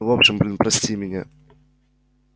в общем блин прости меня